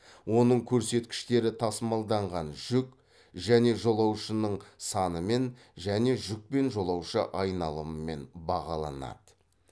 оның көрсеткіштері тасымалданған жүк және жолаушының санымен және жүк пен жолаушы айналымымен бағаланады